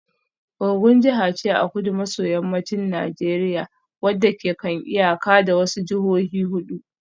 Ogun jiha ce a kudu maso yammacin Najeriya wacce ke kan iyaka da wasu jihohi hudu